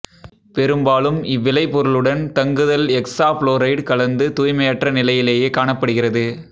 பெரும்பாலும் இவ்விளைபொருளுடன் தங்குதல் எக்சாபுளோரைடு கலந்து தூய்மையற்ற நிலையிலேயே காணப்படுகிறது